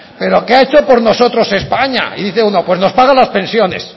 pero qué ha hecho por nosotros españa y dice uno pues nos paga las pensiones